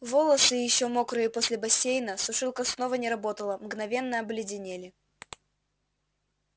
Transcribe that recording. волосы ещё мокрые после бассейна сушилка снова не работала мгновенно обледенели